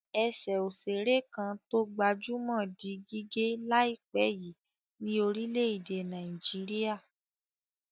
Ẹsẹ̀ òṣèré kan tó gbajúmọ̀ di gígé láìpẹ́ yìí ní orílẹ̀-èdè Nàìjíríà.